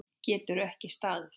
Getur ekki staðið.